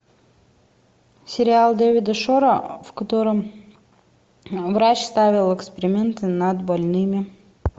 сериал дэвида шора в котором врач ставил эксперименты над больными